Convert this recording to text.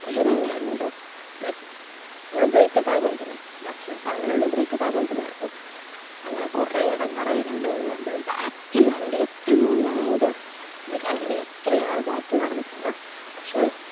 depression എന്നെയായിരുന്നുട്ടോ like നമ്മള് break up ആയപോലെതന്നെ best friends ആണെന്നല്ല ഉള്ളു breakup ആയപോലെതന്നെയായിരുന്നു അങ്ങനെ കൊറേ എടങ്ങാറായി രണ്ടുമൂന്നു മാസം back ൽ നടന്നുട്ടോ എത്രയോ ഞാൻ എന്റെ ഇത് കളഞ്ഞിന് അത്രിയാൾ back ൽ നടന്നിട്ടുള്ളെ